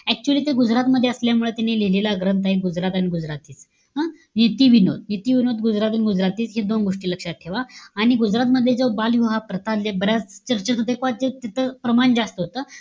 Actually ते गुजरातमध्ये असल्यामुळे त्यांनी लिहिलेला ग्रंथ आहे गुजरात आणि गुजराथीय. हं? नितिविनोद, नीतिविनोद, गुजराथ आणि गुजराथी हे दोन गोष्टी लक्षात ठेवा. आणि गुजराथमध्ये, जो बालविवाह प्रकार, म्हणजे बऱ्याच तिथं प्रमाण जास्त होतं.